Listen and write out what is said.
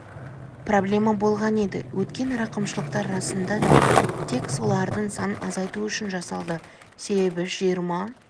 проблема болған еді өткен рақымшылықтар расында да тек солардың санын азайту үшін жасалды себебі жиырма